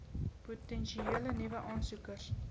potensiële nuwe aansoekers